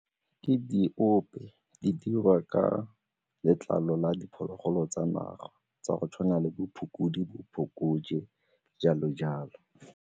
Ke diope, di dirwa ka letlalo la diphologolo tsa naga tsa go tshwana le bo bo phokojwe, jalo-jalo.